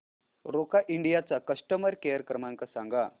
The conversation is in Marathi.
रोका इंडिया चा कस्टमर केअर क्रमांक सांगा